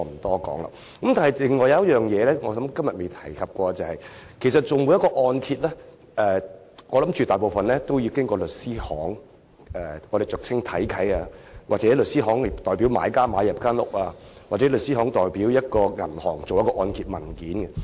不過，還有一個問題是今天未有觸及的，便是銀行按揭大多數要經由律師行處理，俗稱"睇契"，或由律師行代表買家購買物業，又或是由律師行代表銀行處理按揭文件。